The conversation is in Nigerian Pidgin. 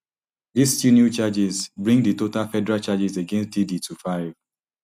dis two new charges bring di total federal charges against diddy to five